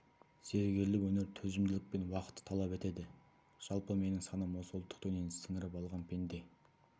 зергерлік өнер төзімділік пен уақытты талап етеді жалпы менің санам осы ұлттық дүниені сіңіріп алған пенде